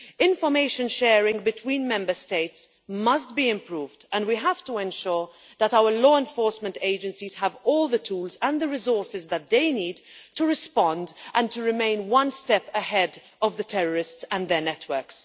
Information sharing between Member States must be improved and we have to ensure that our law enforcement agencies have all the tools and the resources that they need to respond and to remain one step ahead of the terrorists and their networks.